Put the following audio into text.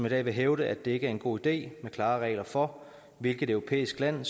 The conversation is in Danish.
i dag vil hævde at det ikke er en god idé med klare regler for hvilket europæisk land